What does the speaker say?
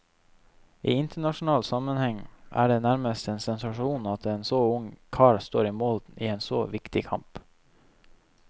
I internasjonal sammenheng er det nærmest en sensasjon at en så ung kar står i mål i en så viktig kamp.